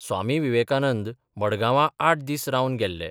स्वामी वीवेकानंद मडगावां आठ दीस रावन गेल्ले.